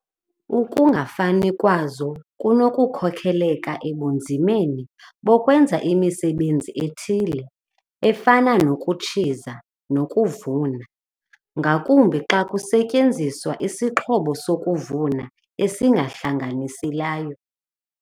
Ukungafani kwazo kunokukhokelela ebunzimeni bokwenza imisebenzi ethile, efana nokutshiza nokuvuna, ngakumbi xa kusetyenziswa isixhobo sokuvuna esihlanganiselayo.